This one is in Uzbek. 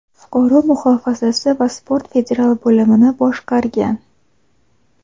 fuqaro muhofazasi va sport federal bo‘limini boshqargan.